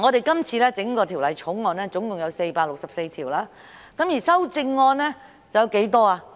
今次《條例草案》共有464項條文，而修正案有多少呢？